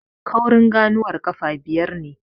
Kaurin ganuwar ƙafa biyar ne.